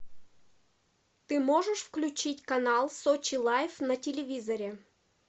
ты можешь включить канал сочи лайф на телевизоре